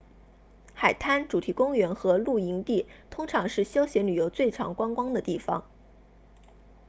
海滩主题公园和露营地通常是休闲游客最常光顾的地方